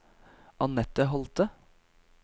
Anette Holte